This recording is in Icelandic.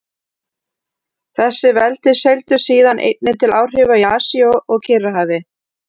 Þessi veldi seildust síðan einnig til áhrifa í Asíu og Kyrrahafi.